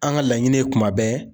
An ka laɲini ye kuma bɛɛ.